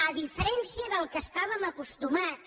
a diferència d’allò a què estàvem acostumats